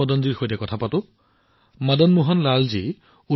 ডাঃ মদনজীৰ পিছত আমি এতিয়া আন এজন মদন জীৰ সৈতে যোগদান কৰিছো